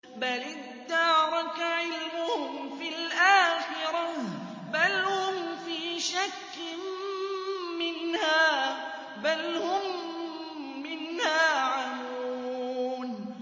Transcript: بَلِ ادَّارَكَ عِلْمُهُمْ فِي الْآخِرَةِ ۚ بَلْ هُمْ فِي شَكٍّ مِّنْهَا ۖ بَلْ هُم مِّنْهَا عَمُونَ